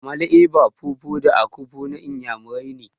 Amala, eba, fufu da akpu na Inyamurani ne.